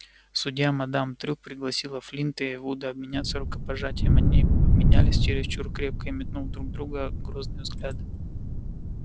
судья мадам трюк пригласила флинта и вуда обменяться рукопожатием они обменялись чересчур крепко и метнув друг в друга грозные взгляды